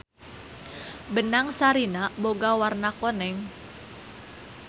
Benang sarina boga warna koneng.